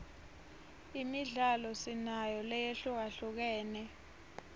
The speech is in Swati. imidlalo sinayo lehlukahlukene